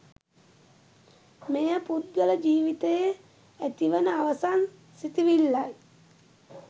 මෙය පුද්ගල ජීවිතයේ ඇතිවන අවසන් සිතිවිල්ලයි.